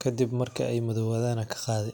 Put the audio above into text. kadib marki ay madowadan ad kaqadi.